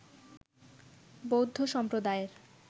বৌদ্ধ সম্প্রদায়ের